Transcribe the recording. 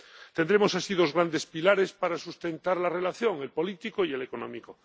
Tendremos así dos grandes pilares para sustentar la relación el político y el económico.